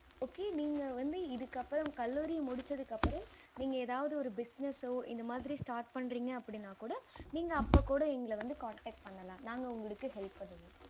okay இதுக்கு அப்பறம் கல்லூரி முடிச்சதுக்கு அப்பரம் நீங்க எதாவது ஒரு business இந்த மாறி start பன்றிங்க அப்படினா கூட நீங்க அப்ப கூட எங்கள வந்து connect பண்ணலாம் நாங்க உங்களுக்கு help பண்ணுவோம்